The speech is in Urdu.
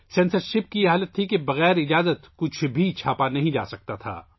سنسرشپ کا یہ حال تھا کہ منظوری کے بغیر کوئی چیز چھاپی نہیں جا سکتی تھی